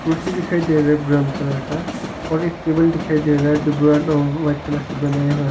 कुर्सी दिखाई दे रहा है ब्राउन कलर का और एक टेबल दिखाई दे रहा है जो ब्राउन व वाइट कलर से बनाया हुआ--